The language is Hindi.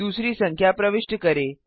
दूसरी संख्या प्रविष्ट करें